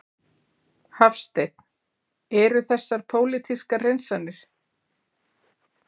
Hafsteinn: Eru þessar pólitískar hreinsanir?